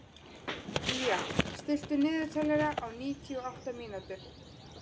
Día, stilltu niðurteljara á níutíu og átta mínútur.